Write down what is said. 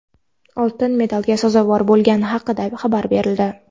oltin medalga sazovor bo‘lgani haqida xabar berildi.